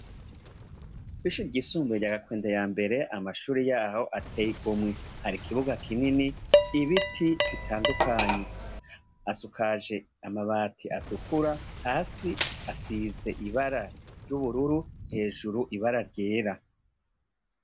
Kw'ishure ryisumbuye rya Gakwende ya mbere amashure yaho ateye igomwe. Hari ikibuga kinini, ibiti bitandukanye. Asukaje amabati atukura. Hasi asize ibara ry'ubururu hejuru ibara ryera.